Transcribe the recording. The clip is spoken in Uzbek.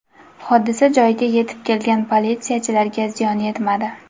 Hodisa joyiga yetib kelgan politsiyachilarga ziyon yetmadi.